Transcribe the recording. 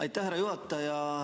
Aitäh, härra juhataja!